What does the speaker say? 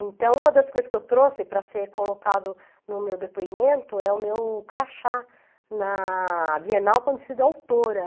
Então, uma das coisas que eu trouxe para ser colocado no meu depoimento é o meu crachá na Bienal Conhecida Autora.